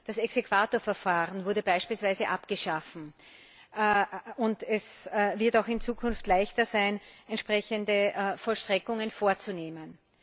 Das Exequaturverfahren wurde beispielsweise abgeschafft, und es wird auch in Zukunft leichter sein, entsprechende Vollstreckungen vorzunehmen.